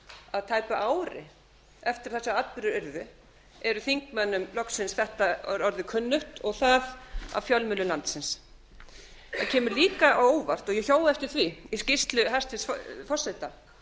að tæpu ári eftir að þessir atburðir urðu eru þingmönnum loksins orðið þetta kunnugt og það af fjölmiðlum landsins það kemur líka á óvart og ég hjó eftir því í skýrslu hæstvirts forseta